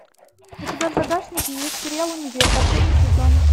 у тебя в загашнике есть сериал универ последний сезон